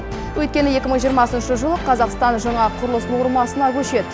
өйткені екі мың жиырмасыншы жылы қазақстан жаңа құрылыс нормасына көшеді